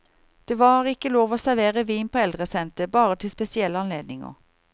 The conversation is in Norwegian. Det var ikke lov å servere vin på eldresentret, bare til spesielle anledninger.